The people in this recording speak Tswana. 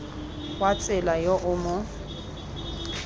wa tsela yo o mo